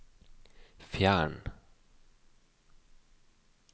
fjern